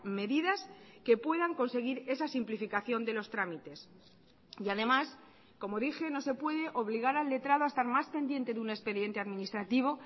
medidas que puedan conseguir esa simplificación de los trámites y además como dije no se puede obligar al letrado a estar más pendiente de un expediente administrativo